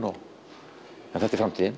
en þetta er framtíðin